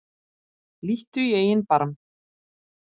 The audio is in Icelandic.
Líttu í eigin barm